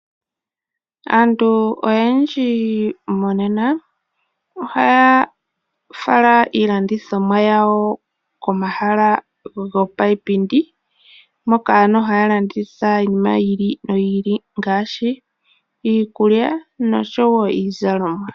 Aantu oyendji monena, ohaya fala iilandithomwa yawo koma hala gopa ipindi, moka haya landitha iinima yiili no yiili ngaashi iikulya nosho wo iizalomwa.